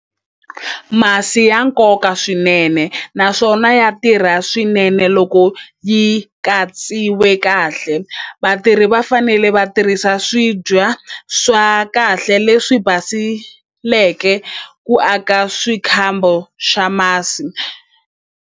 Masi ya nkoka swinene naswona ya tirha swinene loko yi katsiwe kahle vatirhi va fanele va tirhisa swibya swa kahle leswi basileke ku aka swikhambo swa masi.